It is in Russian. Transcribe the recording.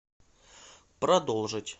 продолжить